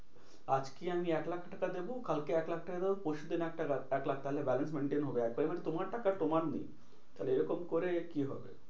আজকে আমি এক লাখ টাকা দেব কালকে এক লাখ টাকা দেব পরশুদিন এক টাকা এক লাখ তাহলে balance maintain হবে। আর payment তোমার টাকা তোমার নেই। তাহলে এরকম করে কি হবে?